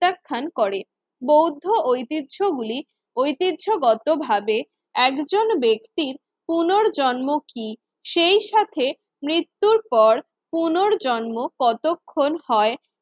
প্রত্যাখান করে বৌদ্ধ ঐতিহ্যগুলি ঐতিহ্যগতভাবে একজন ব্যক্তির পুনর্জন্ম কি সেই সাথে মৃত্যুর পর পুনর্জন্ম কতক্ষণ হয়